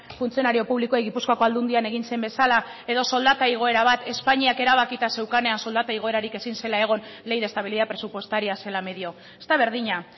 funtzionario publikoei gipuzkoako aldundian egin zen bezala edo soldata igoera bat espainiak erabakita zeukanean soldata igoerarik ezin zela egon ley de estabilidad presupuestaria zela medio ez da berdina